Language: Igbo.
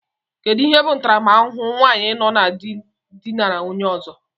Kedụ ihe bụ ntaramahụhụ nwaanyi nọ na dị dinara onye ọzọ?